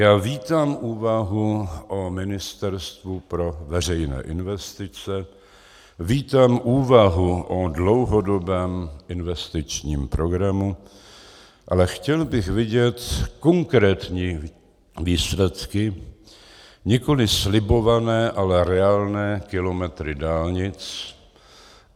Já vítám úvahu o Ministerstvu pro veřejné investice, vítám úvahu o dlouhodobém investičním programu, ale chtěl bych vidět konkrétní výsledky, nikoli slibované, ale reálné kilometry dálnic.